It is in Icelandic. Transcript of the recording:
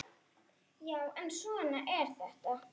Já, en svona er þetta.